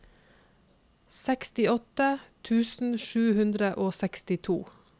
sekstiåtte tusen sju hundre og sekstito